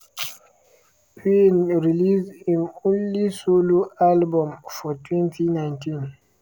payne release im only solo album for 2019.